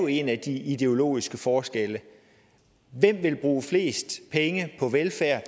en af de ideologiske forskelle hvem vil bruge flest penge på velfærd